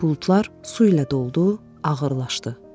Buludlar su ilə doldu, ağırlaşdı.